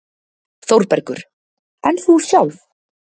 ÞÓRBERGUR: En þú sjálf?